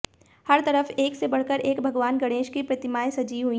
हर तरफ एक से बढ़कर एक भगवान गणेश की प्रतिमाएं सजी हुई है